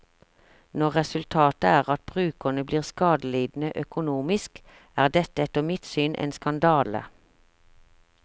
Når resultatet er at brukerne blir skadelidende økonomisk, er dette etter mitt syn en skandale.